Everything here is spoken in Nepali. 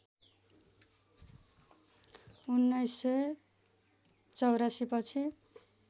१९८४ पछि